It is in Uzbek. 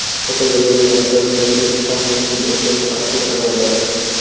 Fotogalereya: Bir-biriga ikki tomchi suvdek o‘xshash mashhur ayollar.